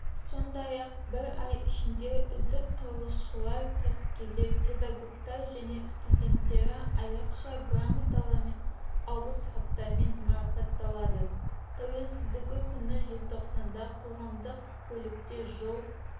сондай-ақ бір ай ішінде үздік құрылысшылар кәсіпкерлер педагогтар және студенттері айрықша грамоталармен алғыс хаттармен марапатталады тәуелсіздігі күні желтоқсанда қоғамдық көлікте жол